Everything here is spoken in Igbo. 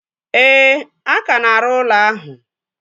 Ee, a ka na-arụ ụlọ ahụ